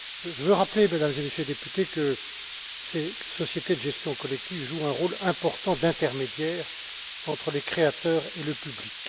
Je veux rappeler, Mesdames et Messieurs les députés, que ces sociétés de gestion collective jouent un rôle important d'intermédiaire entre les créateurs et le public.